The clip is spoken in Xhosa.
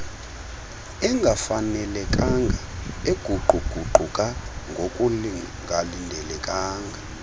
engafanelekanga eguquguquka ngokungalindelekanga